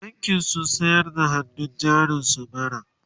bankin sun sayar da hannun jarin su bara